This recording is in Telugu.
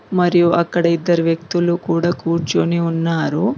మరియు అక్కడ ఇద్దరు వ్యక్తులు కూడా కూర్చొని ఉన్నారు.